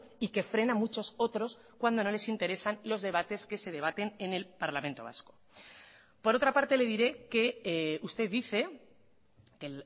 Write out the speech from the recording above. y que frena muchos otros cuando no les interesan los debates que se debaten en el parlamento vasco por otra parte le diré que usted dice que